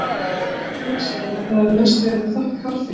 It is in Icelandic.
Verður eigi annað séð en það hafi mest verið að þakka harðfylgi